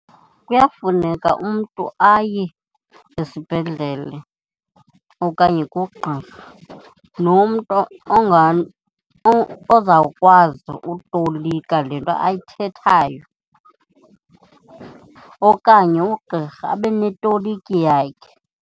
Kuyafuneka umntu aye esibhedlele okanye kugqirha nomntu ozawukwazi utolika le nto ayithethayo okanye ugqirha abe neetoliki yakhe.